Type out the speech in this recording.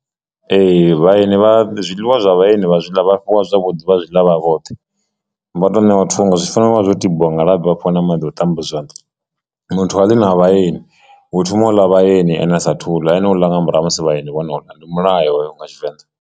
Ee, vhaeni vha zwiḽiwa zwa vhaeni vha zwiḽa vha fhiwa zwa vho ḓuvha zwi ḽa vha vhoṱhe vha tou ṋewa thungo zwi fanela uvha zwo tambiwa nga labi vhafha na maḓi a u ṱamba zwanḓa muthu ha ḽi na vhaeni hu thoma u ḽa vhaeni ene a sa thu ḽa ene u ḽa nga murahu ha musi vhaeni vhona u ḽa ndi mulayo hoyo nga Tshivenḓa.